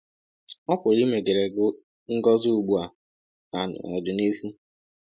Ọ pụrụ imeghere gị ngọzi ugbu a na n'ọdịnihu.